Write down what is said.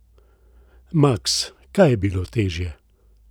Maks, kaj je bilo težje?